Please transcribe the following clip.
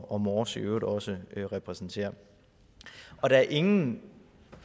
og mors i øvrigt også repræsenterer der er ingen